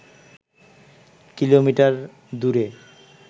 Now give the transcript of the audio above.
kilometre দূরে